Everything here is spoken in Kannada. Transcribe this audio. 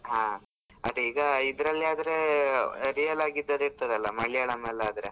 ಹಾ ಅದೆ ಈಗ ಇದ್ರಲ್ಲಿ ಆದ್ರೆ real ಆಗೆ ಇದ್ದದ್ ಇರ್ತದೆ ಅಲ ಮಲಿಯಾಳಂ ಅಲ್ ಆದ್ರೆ .